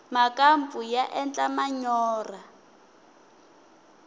makampfu ya endla manyorha